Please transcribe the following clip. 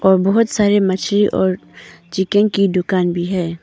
और बहुत सारे मछली और चिकन की दुकान भी है।